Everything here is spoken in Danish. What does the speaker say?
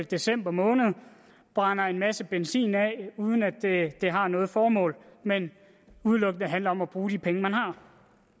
december måned brænder en masse benzin af uden at det har noget formål men udelukkende handler om at bruge de penge man